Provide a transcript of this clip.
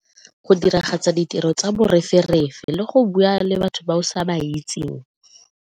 Go diragatsa ditiro tsa le go bua le batho ba o sa ba itseng.